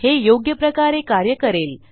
हे योग्यप्रकारे कार्य करेल